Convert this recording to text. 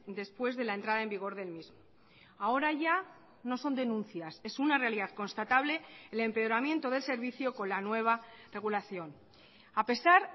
después de la entrada en vigor del mismo ahora ya no son denuncias es una realidad constatable el empeoramiento del servicio con la nueva regulación a pesar